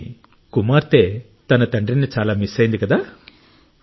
కాని కుమార్తె తన తండ్రిని చాలా మిస్ అయ్యింది కదా